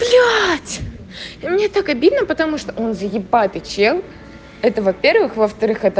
блять мне так обидно потому что он заебатый чел это во-первых во-вторых это